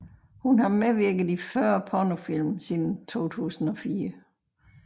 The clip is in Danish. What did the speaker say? Hun har medvirket i 40 pornofilm siden 2004